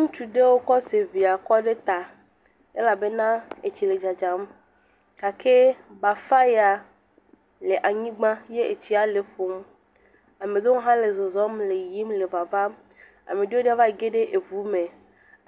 Ŋutsu ɖewo kɔ seŋe kɔ ɖe ta elabena etsi le dzadzam gake bafa ya le anyigba etsi le eƒom, ame ɖewo hã le zɔzɔm le yiyim le vavam, ame ɖewpo v age ɖe ŋu me,